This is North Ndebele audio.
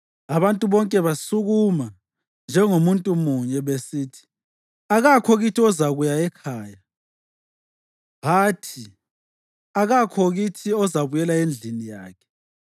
Abantu bonke basukuma njengomuntu munye, besithi, “Akakho kithi ozakuya ekhaya. Hathi, akakho kithi ozabuyela endlini yakhe.